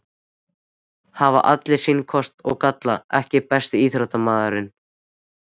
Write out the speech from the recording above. Hafa allir sína kosti og galla EKKI besti íþróttafréttamaðurinn?